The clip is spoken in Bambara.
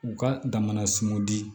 U ka dama sunw di